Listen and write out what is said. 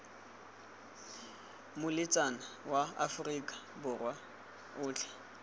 lomeletsa ma aforika borwa otlhe